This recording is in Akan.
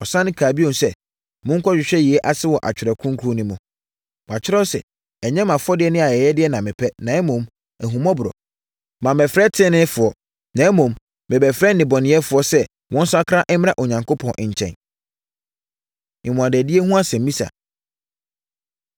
Ɔsane kaa bio sɛ, “Monkɔhwehwɛ yei ase wɔ Atwerɛ Kronkron no mu. Wɔatwerɛ sɛ, ‘Ɛnyɛ mo afɔdeɛ ne ayɛyɛdeɛ na mepɛ, na mmom, ahummɔborɔ.’ Mammɛfrɛ teneneefoɔ, na mmom, mebɛfrɛɛ nnebɔneyɛfoɔ sɛ wɔnsakra mmra Onyankopɔn nkyɛn.” Mmuadadie Ho Asɛmmisa